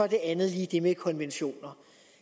det andet lige det med konventioner